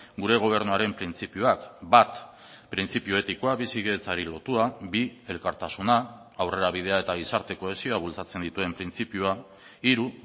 gure gobernuaren printzipioak bat printzipio etikoa bizikidetzari lotua bi elkartasuna aurrerabidea eta gizarte kohesioa bultzatzen dituen printzipioa hiru